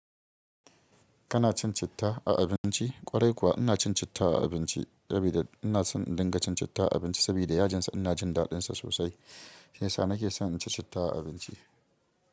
Kana cin citta a abinci? Ƙwarai kuwa ina cin citta a abinci, sabida ina so in dinga cin citta a abinci sabida yajinsa ina jin daɗinsa sosai. Shi yasa nake so in ci citta a abinci.